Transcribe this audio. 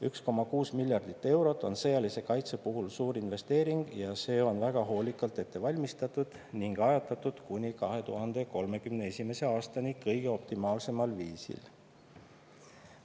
1,6 miljardit eurot on sõjalise kaitse puhul suur investeering ja see on väga hoolikalt ette valmistatud ning ajatatud kuni 2031. aastani kõige optimaalsemal viisil.